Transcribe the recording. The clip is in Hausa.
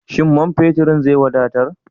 Shin man feturn zai wadatar?